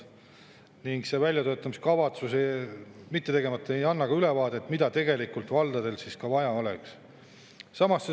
Ning kuna väljatöötamiskavatsus on tegemata, siis ka ülevaadet, mida tegelikult valdadel vaja oleks.